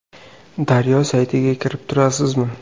Daryo saytiga kirib turasizmi?